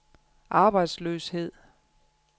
arbejdsløshed